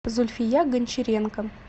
зульфия гончаренко